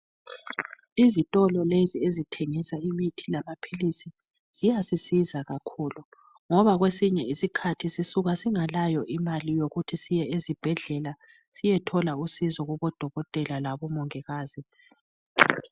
Izitolo lezi ezithengisa imithi lamaphilisi ziyasisiza kakhulu ngoba kwesinye isikhathi sisuka singalayo imali yokuthi siye ezibhedlela siyethola usizo kubodokotela labomongikazi.